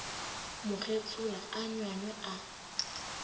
mo getsola a nywanywa a